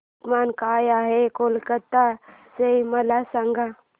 तापमान काय आहे कलकत्ता चे मला सांगा